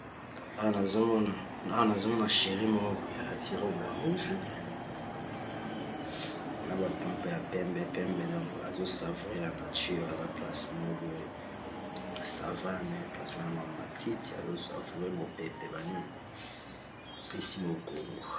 Awa nazomona shérie moko boye alati robe ya rouge na ba pampe ya pembe pembe donk azo savure la nature aza place moko oye ya sa va me place Wana ba matiti azo savure mopepe banimi apesi mokongo.